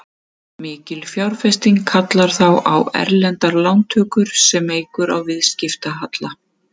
Mikil fjárfesting kallar þá á erlendar lántökur sem eykur á viðskiptahalla.